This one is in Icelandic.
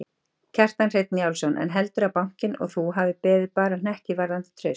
Kjartan Hreinn Njálsson: En heldurðu að bankinn og þú hafi beðið bara hnekki varðandi traust?